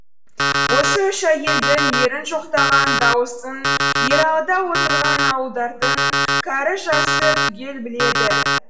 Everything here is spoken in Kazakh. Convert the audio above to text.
осы үш әйелдің ерін жоқтаған даусын ералыда отырған ауылдардың кәрі жасы түгел біледі